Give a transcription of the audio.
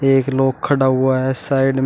एक लोग खड़ा हुआ है साइड में।